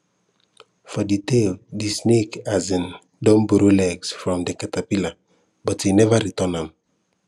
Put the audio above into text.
for de tale de snake um don borrow legs from de centipede but e never return am